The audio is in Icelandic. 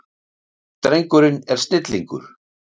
Drengurinn er snillingur.